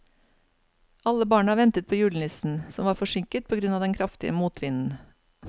Alle barna ventet på julenissen, som var forsinket på grunn av den kraftige motvinden.